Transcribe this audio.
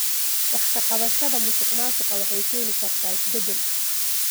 Wax ka qabashada musuqmaasuqa waxay keeni kartaa isbeddel.